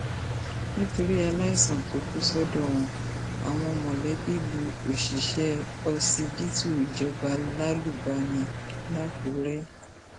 nítorí aláìsàn tó kù sọdọ wọn àwọn mọlẹbí lu òṣìṣẹ ọsibítù ìjọba lálùbami làkúrẹ